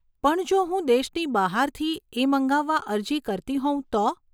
પણ જો હું દેશની બહારથી એ મંગાવા અરજી કરતી હોઉં તો?